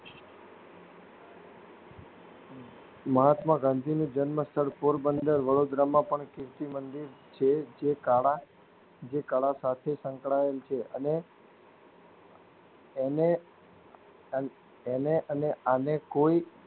મહાત્મા ગાંધી નો જન્મ સ્થળ પોરબંદર વડોદરામાં પણ કીર્તિ મંદિર જે જે કાળા જે કાળા સાથે સંકળાયેલ છે અને અને અન એને આને કોઈ